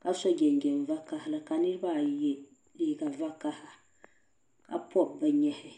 ka so jinjɛm vokahili ka niriba ayi yɛ liiga vokaha ka pɔb bɛ nyɛhi.